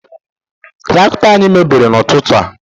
Tractọ anyị mebiri na ụtụtụ a